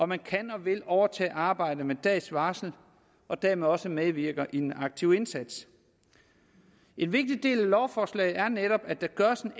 man kan og vil overtage et arbejde med dags varsel og dermed også medvirker i en aktiv indsats en vigtig del af lovforslaget er netop at der gøres en